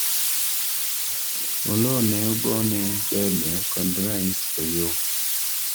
Oloo ne ogone debe kod rais Oyoo